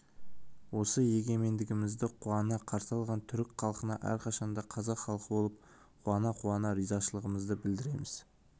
осы егемендігімізді қуана қарсы алған түрік халқына әрқашан да қазақ халқы болып қуана-қуана ризашылығымызды білдіреміз